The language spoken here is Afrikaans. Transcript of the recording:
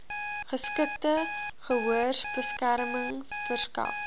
geskikte gehoorbeskerming verskaf